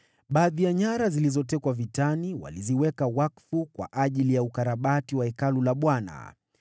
Baadhi ya nyara zilizotekwa vitani waliziweka wakfu kwa ajili ya ukarabati wa Hekalu la Bwana .